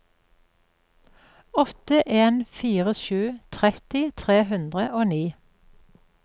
åtte en fire sju tretti tre hundre og ni